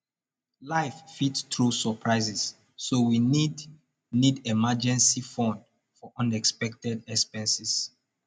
life fit throw surprises so we need need emergency fund for unexpected expenses